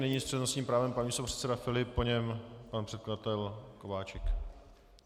Nyní s přednostním právem pan místopředseda Filip, po něm pan předkladatel Kováčik.